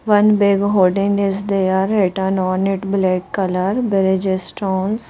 One big hoarding is there written on it black colour bridge stones.